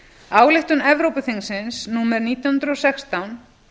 ályktun evrópuþingsins númer nítján hundruð og sextán